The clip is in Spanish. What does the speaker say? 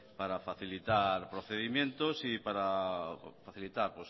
para facilitar procedimientos y para facilitar